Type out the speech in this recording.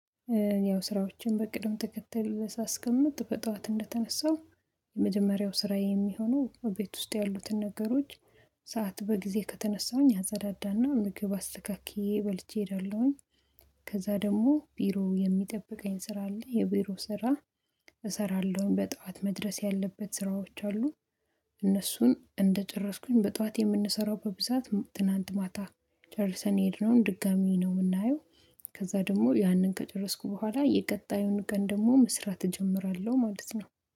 ያው ስራዎችን በቅድም ተከተል ሳስቀምጥ በጠዋት እንደተነሳው የመጀመሪያው ስራየ የሚሆነው እቤት ውስጥ ያሉትን ነገሮች ሰዓት በጊዜ ከተነሳሁኝ አጸዳዳና ምግብ አስተካክዬ በልቼ እደለሁኝ። ከዛ ደግሞ ቢሮ የሚጠብቀኝ ስራ አለ የቢሮ ስራ። እሰራለሁኝ በጧት መድረስ ያለበት ስራዎች አሉ። እነሱን እንደጨረስኩኝ በጧት የምንሰራው በብዛት ትናንት ማታ ጨርሰን የሄድነውን ድጋሚ ነው የምናየው። ከዛ ደግሞ ያንን ከጨረስኩ በኋላ የቀጣዩን ቀን ደግሞ መስራት እጀምራለሁ ማለት ነው።